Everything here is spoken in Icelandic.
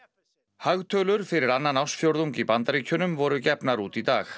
hagtölur fyrir annan ársfjórðung í Bandaríkjunum voru gefnar út í dag